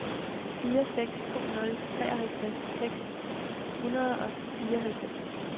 fire seks to nul treoghalvtreds seks hundrede og fireoghalvfems